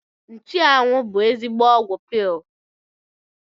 Nchụanwụ bụ ezigbo ọgwụ paịl